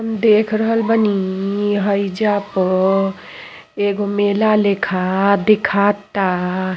म् देख रहल बानी हईजा प एगो मेला लेखा देखा ता।